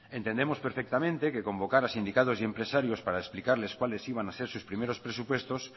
entendemos perfectamente que convocar a sindicatos y empresarios para explicarles cuáles iban a ser sus primeros presupuestos